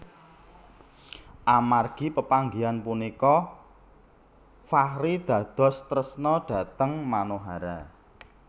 Amargi pepanggihan punika Fakhry dados tresna dhateng Manohara